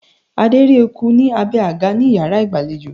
Adé rí eku ní abé àga ní iyàrá ìgbàlejò